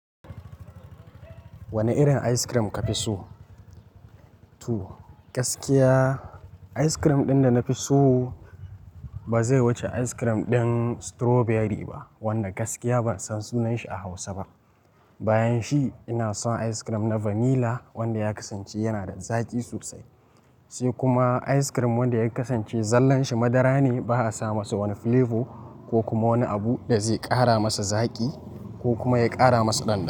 Wane irin ice cream ka fi so? To gaskiya ice cream ɗin da na fi so ba zai wuce ice cream ɗin strawberry ba wanda gaskiya ban san sunanshi a Hausa ba. Bayan shi ina son ice cream na vanilla wanda ya kasance yana da zaƙi sosai. Sai kuma ice cream wanda ya kasance zallan shi madara ne ba a sa masa wani flavor ko kuma wani abu da zai ƙara masa zaƙi ko kuma ya ƙara masa ɗanɗano.